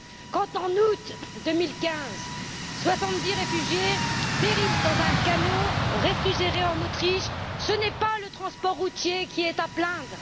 Quand, en août 2015, soixante dix réfugiés périssent dans un camion réfrigéré en Autriche, ce n'est pas le transport routier qui est à plaindre.